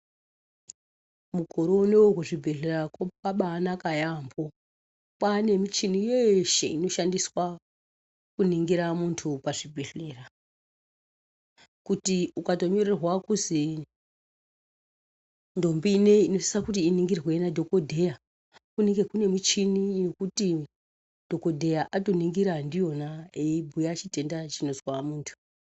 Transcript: Mukore unowu kuchibhehlera kwakabainaka yambo kwane muchini yeshe inoshandiswa kuningira mundu pazvibhehleya kuti ukatonyorerwa kuzi ndombi ineyi inosisa kuti iningirwe nadhokotera kunenge kune muchini yekuti dhokotera atoningira ndiyona eibhuya chitenda chinozwa muntu.